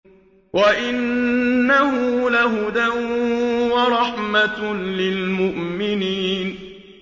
وَإِنَّهُ لَهُدًى وَرَحْمَةٌ لِّلْمُؤْمِنِينَ